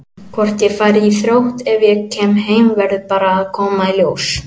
Hvort ég fari í Þrótt ef ég kem heim verður bara að koma í ljós.